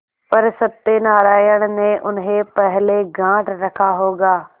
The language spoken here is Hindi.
पर सत्यनारायण ने उन्हें पहले गॉँठ रखा होगा